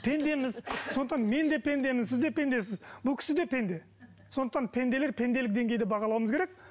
пендеміз сондықтан мен де пендемін сіз де пендесіз бұл кісі де пенде сондықтан пенделер пенделік деңгейде бағалауымыз керек